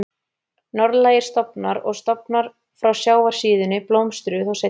Norðlægir stofnar og stofnar frá sjávarsíðunni blómstruðu þó seinna.